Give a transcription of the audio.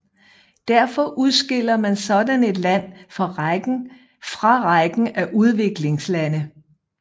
Derfor udskiller man sådan et land fra rækken af udviklingslande